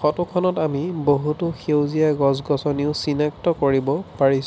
ফটোখনত আমি বহুতো সেউজীয়া গছ গছনিও চিনাক্ত কৰিব পাৰিছ--